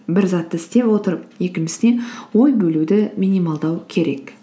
бір затты істеп отырып екіншісіне ой бөлуді минималдау керек